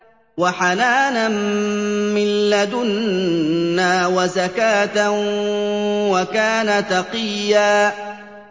وَحَنَانًا مِّن لَّدُنَّا وَزَكَاةً ۖ وَكَانَ تَقِيًّا